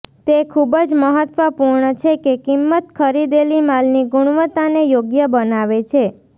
તે ખૂબ જ મહત્વપૂર્ણ છે કે કિંમત ખરીદેલી માલની ગુણવત્તાને યોગ્ય બનાવે છે